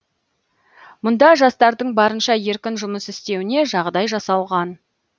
мұнда жастардың барынша еркін жұмыс істеуіне жағдай жасалған